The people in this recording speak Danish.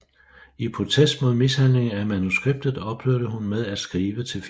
I protest mod mishandlingen af manuskriptet ophørte hun med at skrive til filmen